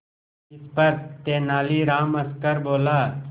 इस पर तेनालीराम हंसकर बोला